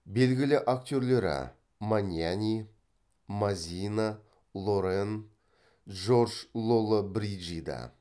белгілі актерлері маньяни мазина лорен джордж лоллобриджида